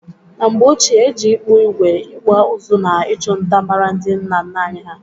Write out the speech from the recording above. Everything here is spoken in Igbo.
Na mgbe ochie, e ji ịkpụ ígwè, ịkpụ ụzụ na ịchụ nta mara ndị nna nna anyị ha